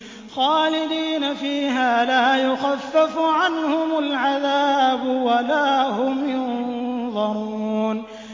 خَالِدِينَ فِيهَا لَا يُخَفَّفُ عَنْهُمُ الْعَذَابُ وَلَا هُمْ يُنظَرُونَ